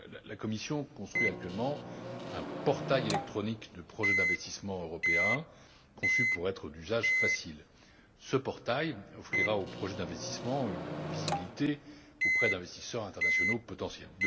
La Commission construit actuellement un portail électronique de projets d'investissement européens conçu pour être d'usage facile. Ce portail offrira aux projets d'investissement une visibilité auprès d'investisseurs internationaux potentiels.